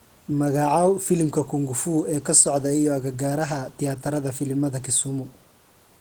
magacaw filimka kung fu ee ka socda iyo agagaaraha tiyaatarada filimada kisumu